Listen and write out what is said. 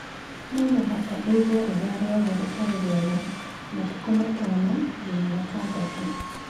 No mũhaka ĩigwo rĩrĩa rĩothe rĩtarĩ rĩega (matukũ matano nginya matandatũ)